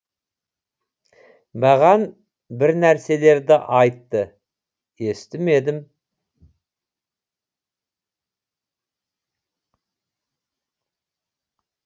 маған бір нәрселерді айтты естімедім